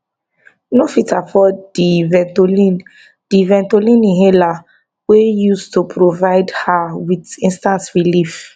no fit afford di ventolin di ventolin inhaler wey use to provide her with instant relief